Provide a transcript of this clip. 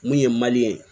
Mun ye ye